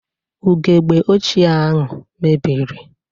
Ugegbe ochie ahụ mebiri.